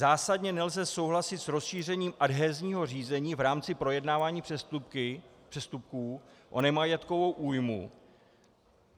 "Zásadně nelze souhlasit s rozšíření adhezního řízení v rámci projednávání přestupků o nemajetkovou újmu.